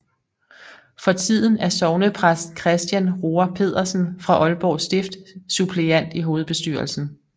For tiden er sognepræst Christian Roar Pedersen fra Aalborg Stift suppleant i hovedbestyrelsen